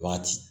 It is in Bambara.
Wagati